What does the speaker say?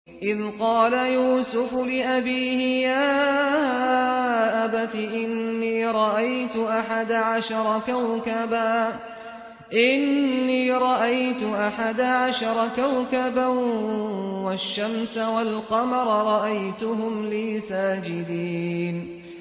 إِذْ قَالَ يُوسُفُ لِأَبِيهِ يَا أَبَتِ إِنِّي رَأَيْتُ أَحَدَ عَشَرَ كَوْكَبًا وَالشَّمْسَ وَالْقَمَرَ رَأَيْتُهُمْ لِي سَاجِدِينَ